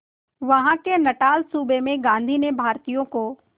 वहां के नटाल सूबे में गांधी ने भारतीयों को